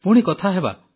ପୁଣି କଥାହେବା